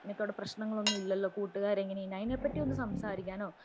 നിനക്ക് അവിടെ പ്രശ്നങ്ങളൊന്നും ഇല്ലല്ലോ കൂട്ടുകാര് എങ്ങനെയാ അതിനെപ്പറ്റി ഒന്നും സംസാരിക്കാനോ